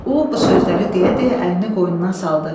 O, bu sözləri deyə-deyə əlini qoynuna saldı.